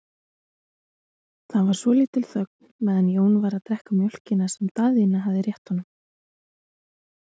Það var svolítil þögn meðan Jón var að drekka mjólkina sem Daðína hafði rétt honum.